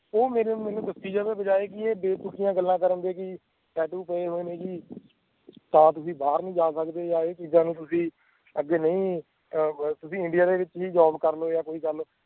ਉਹ ਮੇਰੇ ਮੈਂਨੂੰ ਦੱਸਣ ਦੀ ਬਜਾਏ ਬੇਤੁਕੀਆਂ ਗੱਲਾਂ ਕਰਨ ਦੇ ਵੀ tattoo ਪਏ ਹੋਏ ਨੇ ਜੀ ਤਾਂ ਤੁਸੀਂ ਬਾਹਰ ਨੀ ਜਾ ਸਕਦੇ ਜਾਂ ਇਹ ਚੀਜ਼ਾਂ ਨੂੰ ਤੁਸੀਂ ਅੱਗੇ ਨਹੀਂ ਤੁਸੀਂ India ਦੇ ਵਿਚ ਹੀ ਕਰ ਲਓ ਜਾਂ ਕੋਈ ਗੱਲ